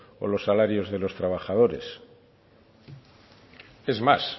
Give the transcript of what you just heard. o los salarios de los trabajadores es más